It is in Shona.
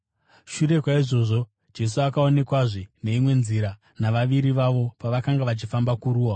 Shure kwaizvozvo Jesu akaonekwazve neimwe nzira navaviri vavo pavakanga vachifamba kuruwa.